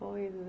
coisa.